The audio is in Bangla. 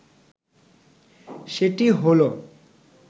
সেটি হলো